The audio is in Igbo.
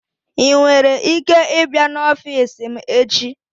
I nwere ike ịbịa n'ọfịs m echi?